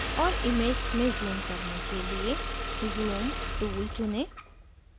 और image में zoom करने के लिए zoom tool चुनें